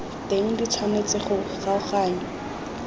teng di tshwanetse go kgaoganngwa